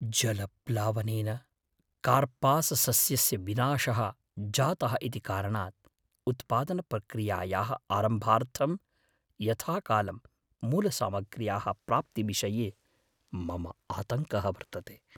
जलप्लावनेन कार्पाससस्यस्य विनाशः जातः इति कारणात्, उत्पादनप्रक्रियायाः आरम्भार्थं यथाकालं मूलसामग्र्याः प्राप्तिविषये मम आतङ्कः वर्तते।